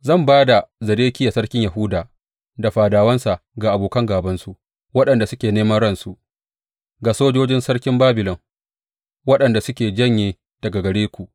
Zan ba da Zedekiya sarkin Yahuda da fadawansa ga abokan gābansu waɗanda suke neman ransu, ga sojojin sarkin Babilon, waɗanda suke janye daga gare ku.